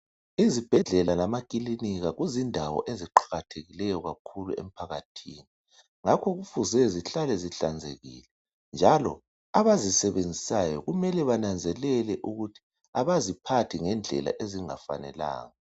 izibhedlela lama kilinika kuzindawo eziqakathekileyo kakhulu emphakathini ngakho kufuze zihlale zihlanzekile njalo abazisebenzisayo kumele bananzelele ukuthi abaziphathi ngendlela ezingafanelanga